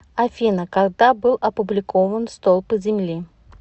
афина когда был опубликован столпы земли